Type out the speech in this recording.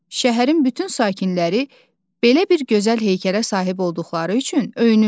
Şəhərin bütün sakinləri belə bir gözəl heykələ sahib olduqları üçün öyünürlər.